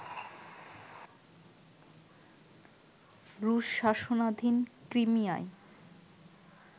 রুশ শাসনাধীন ক্রিমিয়ায়